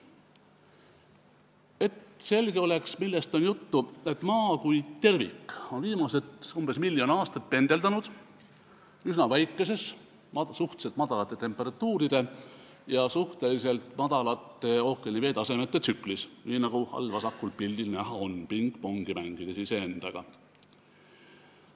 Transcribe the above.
Et selge oleks, millest on juttu: Maa kui tervik on viimased umbes miljon aastat pendeldanud üsna väikeses, suhteliselt madalate temperatuuride ja suhteliselt madalate ookeani veetasemete tsüklis, nii nagu all vasakul pildil näha on, mängides iseendaga pingpongi.